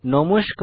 নমস্কার